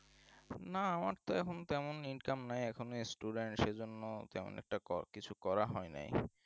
না আমার তো এখন তেমন income নাই এখন student সেই জন্যই তেমন একটু কর কিছু করা হয়নাই